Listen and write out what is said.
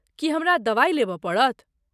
की हमरा दबाइ लेबय पड़त?